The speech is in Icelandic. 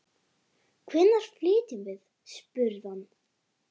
Hvenær flytjum við? spurði hann.